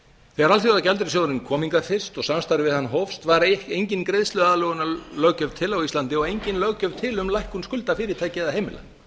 þegar alþjóðagjaldeyrissjóðurinn kom hingað fyrst og samstarf við hann hófst var engin greiðsluaðlögunarlöggjöf til á íslandi og engin löggjöf til um lækkun skulda fyrirtækja eða heimila